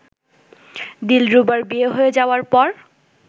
দিলরুবার বিয়ে হয়ে যাওয়ার পর